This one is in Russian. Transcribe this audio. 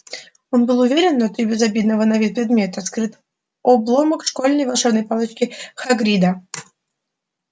он был уверен внутри безобидного на вид предмета скрыт обломок школьной волшебной палочки хагрида